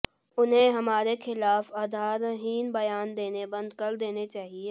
उन्हें हमारे खिलाफ आधारहीन बयान देने बंद कर देने चाहिए